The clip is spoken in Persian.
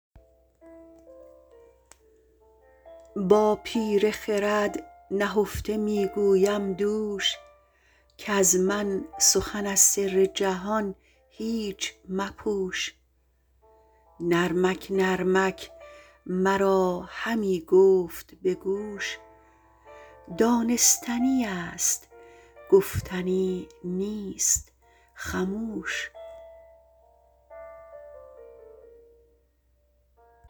با پیر خرد نهفته میگویم دوش کز من سخن از سر جهان هیچ مپوش نرمک نرمک مرا همی گفت بگوش دانستنی است گفتنی نیست خموش